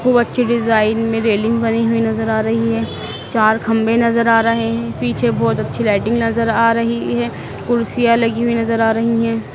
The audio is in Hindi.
खूब अच्छी डिजाइन में रेलिंग बनी हुई नज़र आ रही है चार खंभे नज़र आ रहे हैं पीछे बहुत अच्छी लाइटिंग नज़र आ रही है कुर्सियाँ लगी हुई नज़र आ रही हैं।